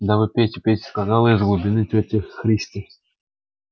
да вы пейте пейте сказала из глубины тётя христя